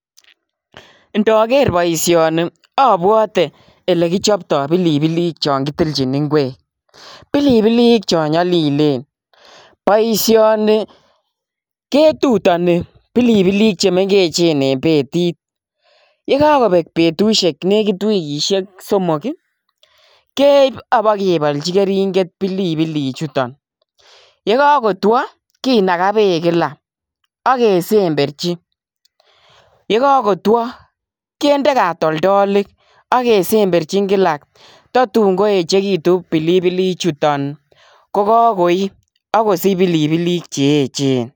Ndoger boisioni abwote elegichopto pilipilik chon kitilchin ingwek. Pilipilik cho nyalilen. Boisioni ketutani pilipilik che mengechen en betit. Ye kagobek betusiek negit wigisiek somok ii keip abogebolchi keringet pilipilichuton. Ye kagotwo kinaga beek kila ak kesemberchi. Yegagotwo kinde katoldolik ak kesemberchin kila tatun koechegitun pilipilichuton ko kagoi ak kosich pilipilik che eechen.